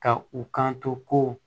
Ka u kan to ko